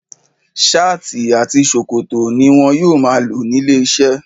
Ṣáàtì àti ṣòkòtò ni wọn yóò máa lò nílé iṣẹ́.